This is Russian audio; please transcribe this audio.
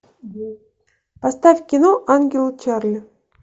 поставь кино ангелы чарли